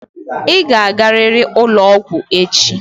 Ị ga-agarịrị ụlọ ọgwụ echi!